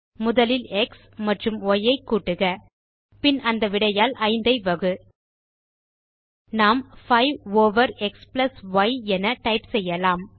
முதலில் எக்ஸ் மற்றும் ய் ஐ கூட்டுக பின் அந்த விடையால் 5 ஐ வகு நாம் 5 ஓவர் எக்ஸ் ய் என டைப் செய்யலாம்